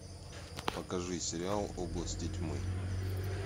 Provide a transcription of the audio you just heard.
покажи сериал области тьмы